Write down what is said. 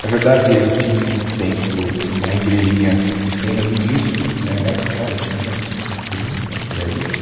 Na verdade, eles tinham um templo, uma igrejinha pequena do início, né, lá de trás, acho que mil novecentos e trinta, por aí,